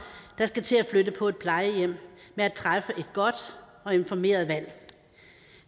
der skal til at flytte på et plejehjem med at træffe et godt og informeret valg